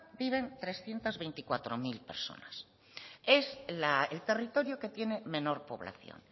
viven trescientos veinticuatro mil personas es el territorio que tiene menor población